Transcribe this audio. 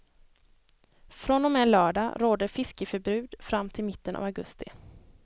Från och med lördag råder fiskeförbud fram till mitten av augusti.